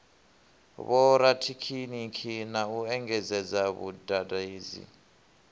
vhorathekhiniki na u engedzadza vhadededzi